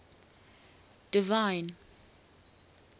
divine